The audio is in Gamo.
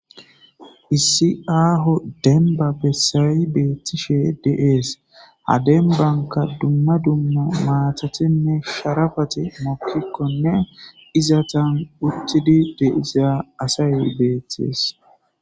issi aaho denba bessayi beettishe de'ees ha denbanka dumma dumma maatathenne sharafati mokkikkonne izatan uttidi de'iza asay beettes